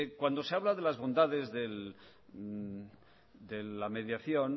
cuando se habla de las bondades de la mediación